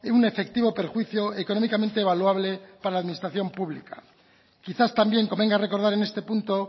un efectivo perjuicio económicamente evaluable para la administración pública quizás también convenga recordar en este punto